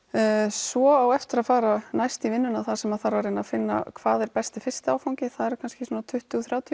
svo á eftir að fara næst í vinnuna þar sem þarf að finna hvað er besti fyrsti áfangi það eru kannski svona tuttugu til þrjátíu